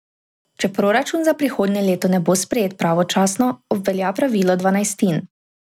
Če proračun za prihodnje leto ne bo sprejet pravočasno, obvelja pravilo dvanajstin.